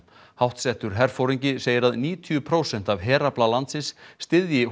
háttsettur herforingi segir að níutíu prósent af herafla landsins styðji